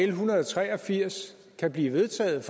en hundrede og tre og firs kan blive vedtaget